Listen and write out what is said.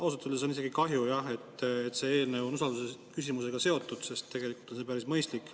Ausalt öeldes on isegi kahju, et see eelnõu on usaldusküsimusega seotud, sest tegelikult on ta päris mõistlik.